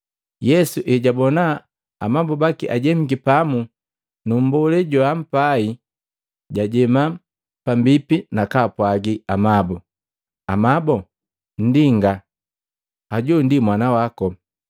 Yesu ejaabona amabu baki, ajemiki pamu nu mbolee joampai, jajema pambipi nakapwaagi amabu, “Amabo, nndinga hoju ndi mwana wako.”